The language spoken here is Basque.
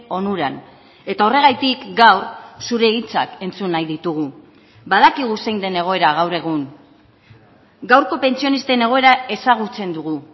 onuran eta horregatik gaur zure hitzak entzun nahi ditugu badakigu zein den egoera gaur egun gaurko pentsionisten egoera ezagutzen dugu